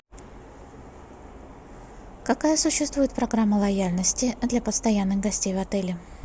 какая существует программа лояльности для постоянных гостей в отеле